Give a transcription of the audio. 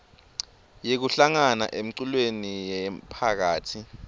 yekuhlangana emculweni yemphakasi